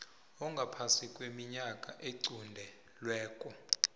ongaphasi kweminyaka equntelweko